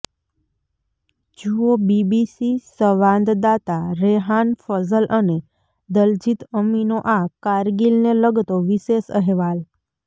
જુઓ બીબીસી સંવાદદાતા રેહાન ફઝલ અને દલજીત અમીનો આ કારગિલને લગતો વિશેષ અહેવાલ